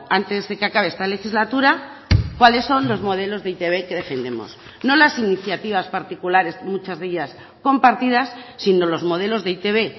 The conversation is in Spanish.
antes de que acabe esta legislatura cuáles son los modelos de e i te be que defendemos no las iniciativas particulares muchas de ellas compartidas sino los modelos de e i te be